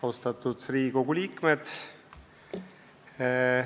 Austatud Riigikogu liikmed!